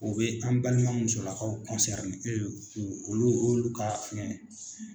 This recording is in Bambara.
U bɛ an balima musolakaw u olu ka fɛngɛ